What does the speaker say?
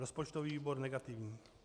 Rozpočtový výbor - negativní.